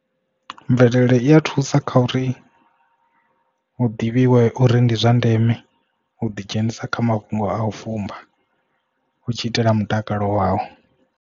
Mvelele i ya thusa kha uri u ḓivhiwe uri ndi zwa ndeme u ḓi dzhenisa kha mafhungo a u fumba u tshi itela mutakalo wau.